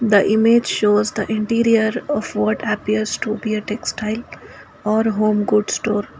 the image shows the interior of what appears to be a textile or home good store.